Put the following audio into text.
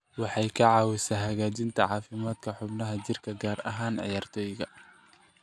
Waxay ka caawisaa hagaajinta caafimaadka xubnaha jirka, gaar ahaan ciyaartoyda.